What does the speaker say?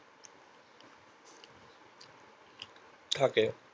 থাকে